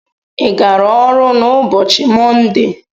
Ị gara ọrụ n'ụbọchị mọnde?